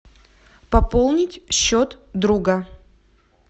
пополнить счет друга